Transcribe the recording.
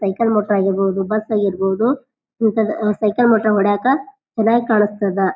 Cycle ಮಟ್ಟ ಆಗಿರ್ಬಹುದು bus ಆಗಿರ್ಬಹುದು ಇಂತದ ಸೈಕಲ್ ಮಟ್ಟ ಹೊಡೆಯಕ ಚೆನ್ನಾಗ್ ಕಾಣಿಸ್ತದ.